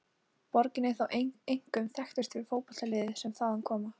Borgin er þó einkum þekktust fyrir fótboltaliðin sem þaðan koma.